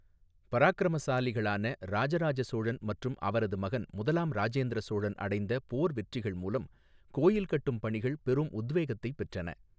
பராக்கிரமசாலிகளான இராஜராஜ சோழன் மற்றும் அவரது மகன் முதலாம் ராஜேந்திர சோழன் அடைந்த போர் வெற்றிகள் மூலம் கோயில் கட்டும் பணிகள் பெரும் உத்வேகத்தை பெற்றன.